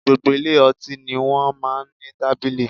Gbogbo ilé ọtí ni wọ́n máa ń ní tábìlì